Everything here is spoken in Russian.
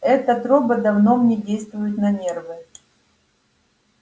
этот робот давно мне действует на нервы